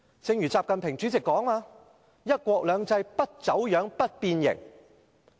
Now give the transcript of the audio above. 正如習近平主席所說，要確保"一國兩制"不走樣、不變形。